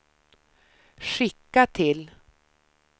skicka till